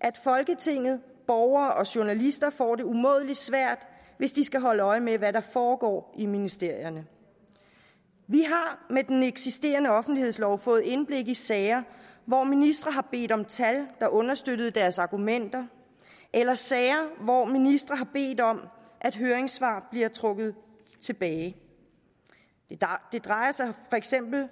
at folketinget borgere og journalister får det umådelig svært hvis de skal holde øje med hvad der foregår i ministerierne vi har med den eksisterende offentlighedslov fået indblik i sager hvor ministre har bedt om tal der understøttede deres argumenter eller sager hvor ministre har bedt om at høringssvar bliver trukket tilbage det drejer sig for eksempel